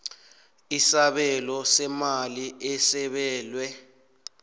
isabelo seemali esabelwe